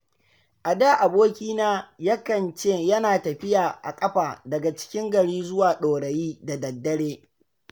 A da abokina yakan ce yana tafiya a ƙafa daga cikin gari zuwa Ɗorayi da daddare.